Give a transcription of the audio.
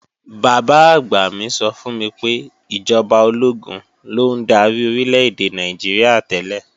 Bàbá-àgbà mi sọ fún mi pé ìjọba ológun ló ń darí Orílè-èdè Nàìjíríà tẹ́lẹ̀